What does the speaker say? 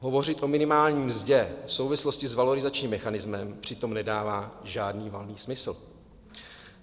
Hovořit o minimální mzdě v souvislosti s valorizačním mechanismem přitom nedává žádný valný smysl.